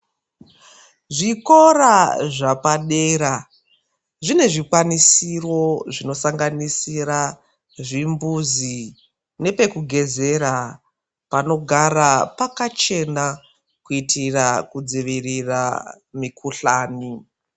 Zvikora zvapadera zvine zvikwanisiro zvinosanganisira zvimbuzi nepekugezera panogara pakachena kuitira kudzivirira mikuhlani.